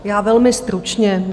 Já velmi stručně.